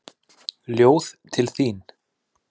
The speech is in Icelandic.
Ljóð til þín.